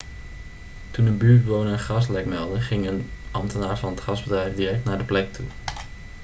toen een buurtbewoner een gaslek meldde ging een ambtenaar van het gasbedrijf direct naar de plek toe